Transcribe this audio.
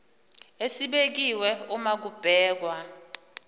esibekiwe uma kubhekwa